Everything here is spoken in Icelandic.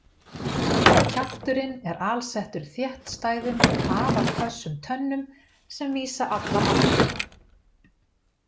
Kjafturinn er alsettur þéttstæðum og afar hvössum tönnum sem vísa allar aftur.